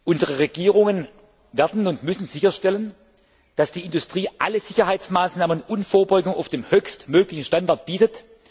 Unsere Regierungen werden und müssen sicherstellen, dass die Industrie alle Sicherheitsmaßnahmen sowie Vorbeugung auf dem höchst möglichen Niveau bietet.